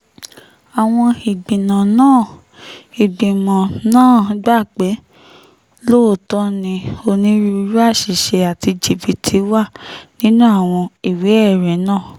àwọn ìgbìmọ̀ náà ìgbìmọ̀ náà gbà pé lóòótọ́ ni onírúurú àṣìṣe àti jìbìtì wà nínú àwọn ìwé-ẹ̀rí náà